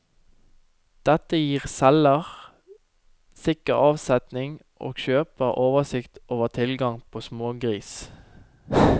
Dette gir selger sikker avsetning og kjøper oversikt over tilgangen på smågris.